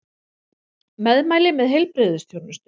Meðmæli með heilbrigðisþjónustu